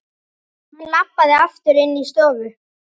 Hann labbaði aftur inní stofu.